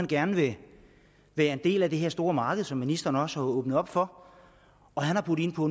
gerne være en del af det store marked som ministeren også har åbnet op for og han har budt ind på